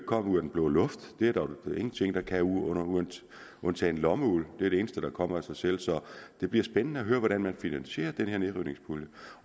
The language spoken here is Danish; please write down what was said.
komme ud af den blå luft det er der jo ingenting der kan undtagen lommeuld det er det eneste der kommer af sig selv så det bliver spændende at høre hvordan man finansierer den her nedrivningspulje